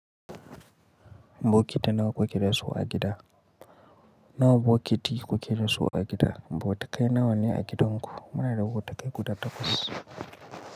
Bokiti nawa kuke da su a gida? Nawa bokiti kuke da su a gida? Bo tukai nawa ne a gidanku? Muna da wata kai guda takwas.